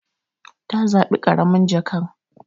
Ta zabi karamin jakan.